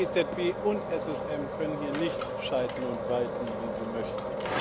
EZB und SSM können hier nicht schalten und walten wie sie möchten.